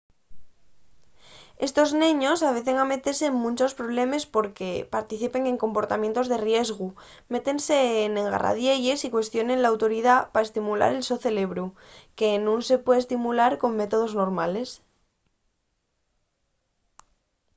estos neños avecen a metese en munchos problemes porque participen en comportamientos de riesgu métense n'engarradielles y cuestionen l’autoridá” pa estimular el so cerebru que nun se puede estimular con métodos normales